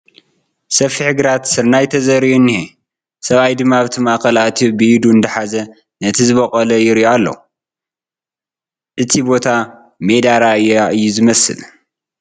ሰፊሕ ግራት ስርናይ እዩ ተዘሪኡ እንኤ ሰብኣይ ድማ ኣብቲ ማእኸል ኣትዩ ብኢዱ እንዳሓዘ ነቲ ዝቦቖለ ይሪኦ ኣሎ ፡ እቲ ቦታ ሜዳ ራያ እዩ ዝመስል ።